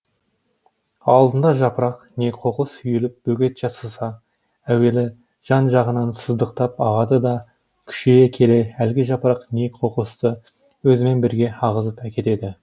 алдында жапырақ не қоқыс үйіліп бөгет жасаса әуелі жан жағынан сыздықтап ағады да күшейе келе әлгі жапырақ не қоқысты өзімен бірге ағызып әкетеді